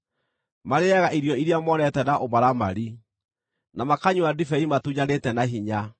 Marĩĩaga irio iria monete na ũmaramari, na makanyua ndibei matunyanĩte na hinya.